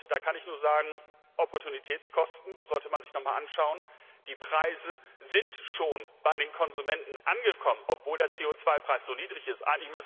Da kann ich nur sagen, Opportunitätskosten sollte man sich noch einmal anschauen. Die Preise sind schon bei den Konsumenten angekommen, obwohl der CO 2 Preis so niedrig ist.